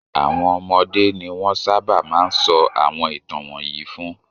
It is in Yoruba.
Àwọn ọmọdé ni wọ́n sábà máa ń sọ àwọn ìtàn wọ̀nyí fún.